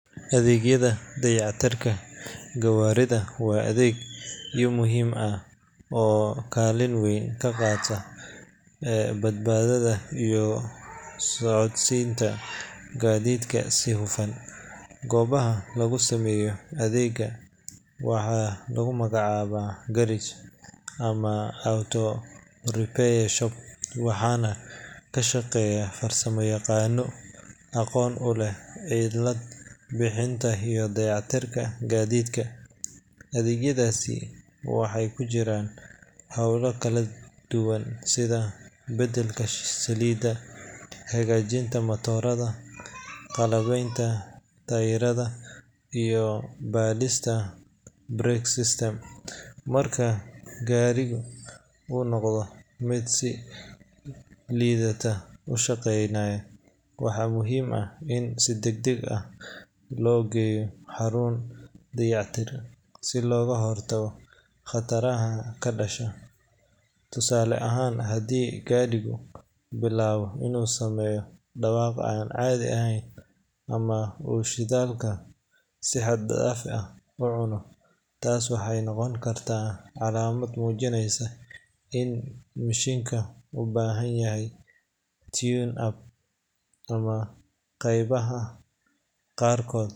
Adeegyada dayactirka gawaarida waa adeegyo muhiim ah oo kaalin weyn ka qaata badbaadada iyo socodsiinta gaadiidka si hufan. Goobaha lagu sameeyo adeeggan waxaa lagu magacaabaa garage ama auto repair shop, waxaana ka shaqeeya farsamoyaqaanno aqoon u leh cilad bixinta iyo dayactirka gaadiidka. Adeegyadaasi waxay ku jiraan hawlo kala duwan sida beddelka saliidda, hagaajinta matoorada, qalabaynta taayirrada, iyo baadhista brake system. Marka gaari uu noqdo mid si liidata u shaqaynaya, waxaa muhiim ah in si degdeg ah loo geeyo xarun dayactir si looga hortago khataraha ka dhasha. Tusaale ahaan, haddii gaadhigu bilaabo inuu sameeyo dhawaaq aan caadi ahayn ama uu shidaalka si xad dhaaf ah u cuno, taasi waxay noqon kartaa calaamad muujinaysa in mishiinka u baahan yahay tune-up ama qaybaha qaarkood.